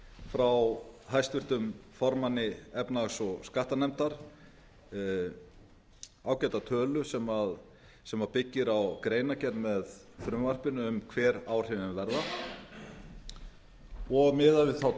frá háttvirtum formanni efnahags og skattanefndar ágæta tölu sem byggir á greinargerð með frumvarpinu um hver áhrifin verða og miðað við þá